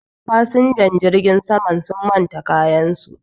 fasinjan jirgin saman sun manta kayansu